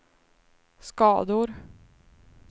skador